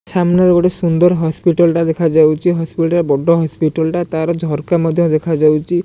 ସାମ୍ନାରେ ଗୋଟେ ସୁନ୍ଦର ହସ୍ପିଟାଲ ଟା ଦେଖାଯାଉଛି ହସ୍ପିଟାଲ ବଡ ହସ୍ପିଟାଲ ତାର ଝରକା ମଧ୍ୟ୍ୟ ଦେଖାଯାଉଛି।